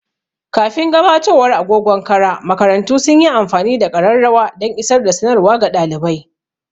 Kafin gabatowar agogon kara, makarantu sun yi amfani da ƙararrawa dan isar da sanarwa ga ɗalibai.